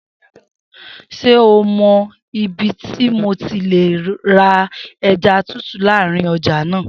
Se ó mọ ibí ti mo ti lè rà ẹja tútù lárin ọjà náà.